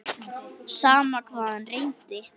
Sama hvað hann reyndi.